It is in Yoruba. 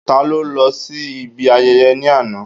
Ta ló lọ sí ibi ayẹyẹ ní àná?